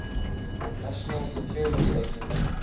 national security agency